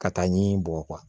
Ka taa ɲi bɔgɔ